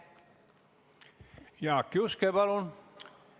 Jaak Juske, palun!